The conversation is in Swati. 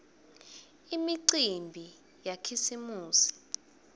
imicimbi yakhisimusi